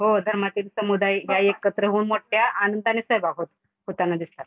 हो धर्मातील समुदायी या एकत्र होऊन मोठ्या आनंदाने सहभागी होताना दिसतात.